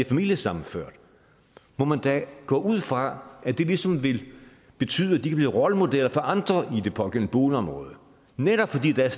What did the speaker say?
familiesammenført må man da gå ud fra at det ligesom vil betyde at de kan blive rollemodeller for andre i det pågældende boligområde netop fordi der